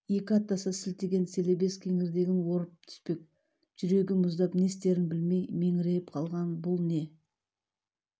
екі аттаса сілтеген селебес кеңірдегін орып түспек жүрегі мұздап не істерін білмей меңірейіп қалған бұл не